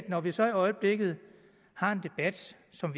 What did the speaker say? når vi så i øjeblikket har en debat som